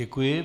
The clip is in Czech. Děkuji.